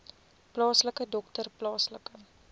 plaaslike dokter plaaslike